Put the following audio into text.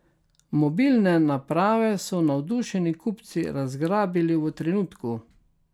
Mobilne naprave so navdušeni kupci razgrabili v trenutku.